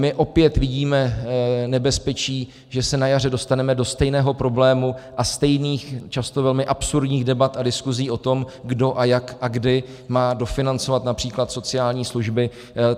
My opět vidíme nebezpečí, že se na jaře dostaneme do stejného problému a stejných, často velmi absurdních debat a diskuzí o tom, kdo a jak a kdy má dofinancovat například sociální služby.